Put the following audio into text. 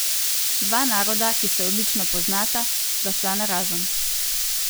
Dva naroda, ki se odlično poznata, sta šla narazen.